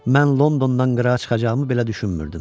Mən Londondan qırağa çıxacağımı belə düşünmürdüm.